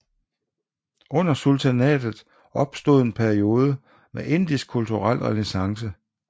Under sultanatet opstod en periode med indisk kulturel renæssance